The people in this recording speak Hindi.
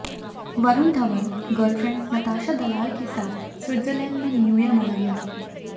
वरुण धवन गर्लफ्रेंड नताशा दलाल के साथ स्विटजरलैंड में न्यू ईयर मनाएंगे